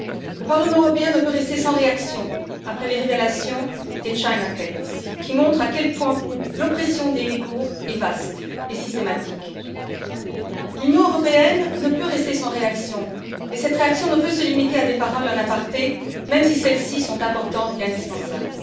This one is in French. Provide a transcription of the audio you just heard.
Le Parlement européen ne peut rester sans réaction après les révélations des China Cables qui montrent à quel point l'oppression des Ouïgours est vaste et systématique. L'Union européenne ne peut rester sans réaction et cette réaction ne peut se limiter à des paroles en aparté, même si celles ci sont importantes et indispensables.